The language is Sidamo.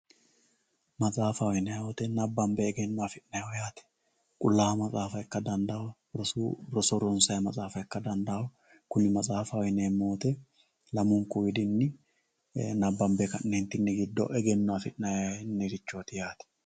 Maxafaho yinani woyite nabanbe horo afimaniho yaate roso ronsayi maxxaafa ika danditawo kuni maxxaafaho yinani woyite lamunku gidoni horo afinaniho yaate